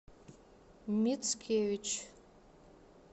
мицкевич